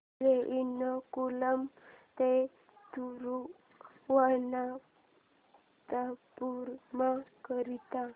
railway Ernakulam ते थिरुवनंतपुरम करीता